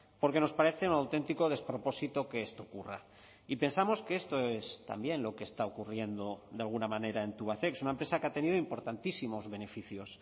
porque nos parece un auténtico despropósito que esto ocurra y pensamos que esto es también lo que está ocurriendo de alguna manera en tubacex una empresa que ha tenido importantísimos beneficios